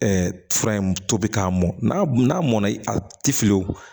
fura in tobi k'a mɔn n'a n'a mɔnna i tɛ fiyewu